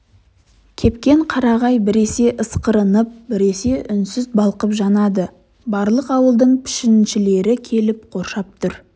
кепкен қарағай біресе ысқырынып біресе үнсіз балқып жанады барлық ауылдың пішеншілері келіп қоршап тұр